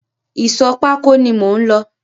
Ìsọ̀ pákó ni mò ń lọ.